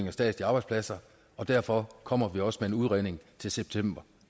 af statslige arbejdspladser og derfor kommer vi også med en udredning til september